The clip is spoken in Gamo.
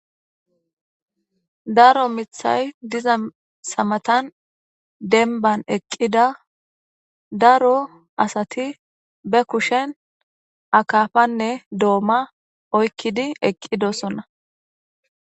Daro mithay dizayisa matani deniban eqida daro asati be kushen akapanee doma oyikidi eqidosona